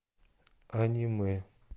аниме